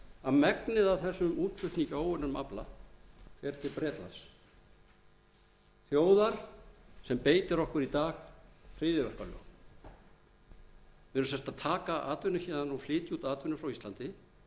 að megnið af þessum útflutningi á óunnum afla fer til bretlands þjóðar sem beitir okkur í dag hryðjuverkalögum við erum sem sagt að taka atvinnu héðan og flytja út atvinnu frá íslandi til